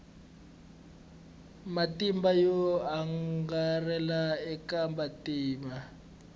matimba yo angarhela eka vantima